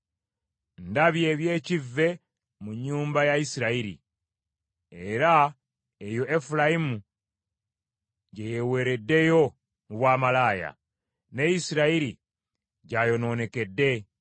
Ndabye eby’ekivve mu nnyumba ya Isirayiri; era eyo Efulayimu gye yeeweereddeyo mu bwamalaaya, ne Isirayiri gy’ayonoonekedde.